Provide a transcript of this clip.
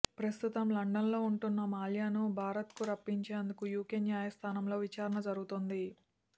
ప్రస్తుతం లండన్లో ఉంటున్న మాల్యాను భారత్కు రప్పించేందుకు యూకే న్యాయస్థానంలో విచారణ జరుగుతోంది